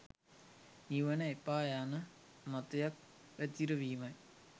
නිවන එපා යන මතයක් පැතිරවීමයි